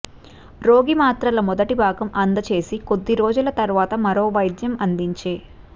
రోగి మాత్రలు మొదటి భాగం అందజేసి కొద్దిరోజుల తర్వాత మరో వైద్యం అందించే